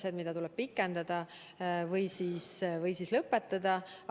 Neid piiranguid tuleb kas pikendada või tuleb need lõpetada.